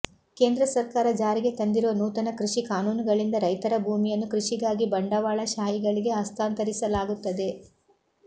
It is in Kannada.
ಕೇಂದ್ರ ಸರ್ಕಾರ ಜಾರಿಗೆ ತಂದಿರುವ ನೂತನ ಕೃಷಿ ಕಾನೂನುಗಳಿಂದ ರೈತರ ಭೂಮಿಯನ್ನು ಕೃಷಿಗಾಗಿ ಬಂಡವಾಳಶಾಹಿಗಳಿಗೆ ಹಸ್ತಾಂತರಿಸಲಾಗುತ್ತದೆ